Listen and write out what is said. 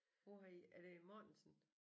Hvor har I er det Mortensen?